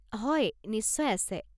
হয়, নিশ্চয় আছে।